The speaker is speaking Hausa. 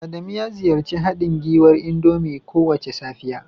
Adamu ya ziyarci haɗin gwiwar indomie kowace safiya